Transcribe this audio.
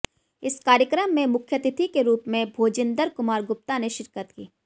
इस कार्यक्रम में मुख्यातिथि के रूप में भोजिन्दर कुमार गुप्ता ने शिरकत की